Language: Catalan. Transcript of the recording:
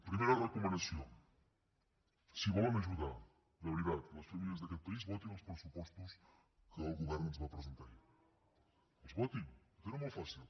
primera recomanació si volen ajudar de veritat les famílies d’aquest país votin els pressupostos que el govern ens va presentar ahir els votin ho tenen molt fàcil